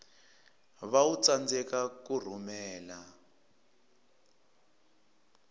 va u tsandzeka ku rhumela